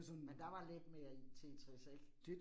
Men der var lidt mere i, Tetris ik?